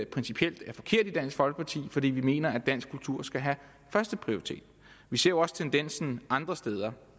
principielt er forkert fordi vi mener at dansk kultur skal have førsteprioritet vi ser også tendensen andre steder